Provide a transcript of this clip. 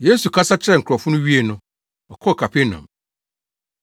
Yesu kasa kyerɛɛ nkurɔfo no wiee no, ɔkɔɔ Kapernaum.